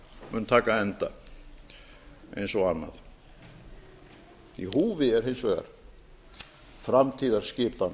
mun taka enda eins og annað í húfi er hins vegar framtíðarskipan